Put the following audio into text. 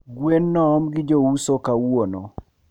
Gwen noom gi jouso kawuono